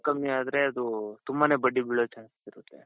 ಹೆಚ್ಚು ಕಡಿಮೆ ಆದರೆ ಅದು ತುಂಬಾನೇ ಬಡ್ಡಿ ಬಿಳೋ chances ಇರುತ್ತೆ.